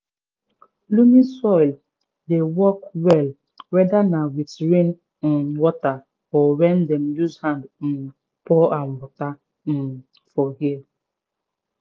loamy soil dey work well weda na with rain um water or wen dem use hand um pour am water um for here